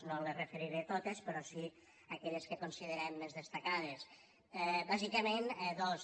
no les referiré totes però sí aquelles que considerem més destacades bàsicament dos